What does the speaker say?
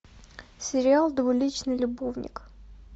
сериал двуличный любовник